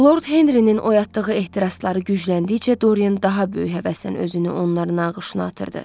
Lord Henrinin oyatdığı ehtirasları gücləndikcə Dorian daha böyük həvəslə özünü onların ağışına atırdı.